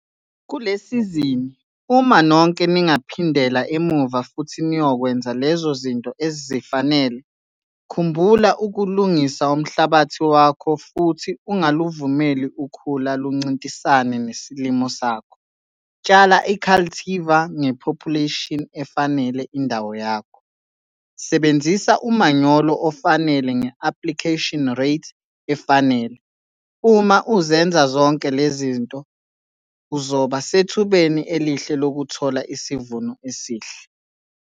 Kule sizini, uma nonke ningaphindela emuva futhi niyokwenza lezo zinto ezifanele - khumbula ukulungisa umhlabathi wakho futhi ungaluvumeli ukhula luncintisane nesilimo sakho, tshala i-cultivar nge-population efanele indawo yakho, sebenzisa umanyolo ofanele nge-application rate efanele - uma uzenza zonke lezi zinto uzoba sethubeni elihle lokuthola isivuno esihle.